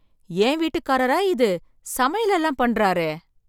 என் வீட்டுக்காரரா இது சமையல் எல்லாம் பண்றாரே!